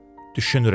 Düşünürəm.